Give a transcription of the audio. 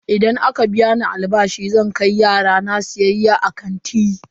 Idan aka biya ni albashi zan kai yara na siyayya a kanti.